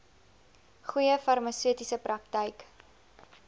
goeie farmaseutiese praktyk